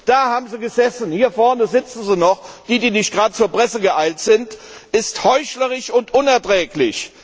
da haben sie gesessen und hier vorne sitzen sie noch, die, die nicht gleich zur Presse geeilt sind ist heuchlerisch und unerträglich.